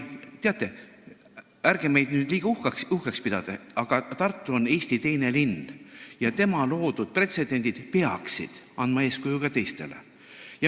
Teate, ärge meid nüüd liiga uhkeks pidage, aga Tartu on Eesti teine linn ja tema loodud pretsedendid peaksid andma eeskuju ka teistele.